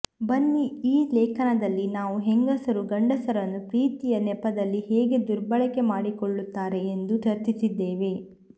ಬನ್ನಿ ಈ ಲೇಖನದಲ್ಲಿ ನಾವು ಹೆಂಗಸರು ಗಂಡಸರನ್ನು ಪ್ರೀತಿಯ ನೆಪದಲ್ಲಿ ಹೇಗೆ ದುರ್ಬಳಕೆ ಮಾಡಿಕೊಳ್ಳುತ್ತಾರೆ ಎಂದು ಚರ್ಚಿಸಿದ್ದೇವೆ